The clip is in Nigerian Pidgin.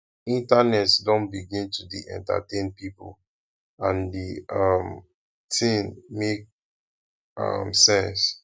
internet don begin to dey entertain pipo and di um tin make um sense